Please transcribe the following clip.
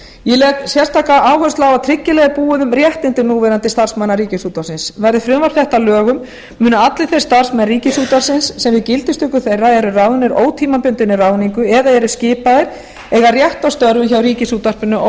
ég legg sérstaka áherslu á að tryggilega er búið um réttindi núverandi starfsmanna ríkisútvarpsins verði frumvarp þetta að lögum munu allir þeir starfsmenn ríkisútvarpsins sem við gildistöku þeirra eru ráðnir ótímabundinni ráðningu eða eru skipaðir eiga rétt á störfum hjá ríkisútvarpinu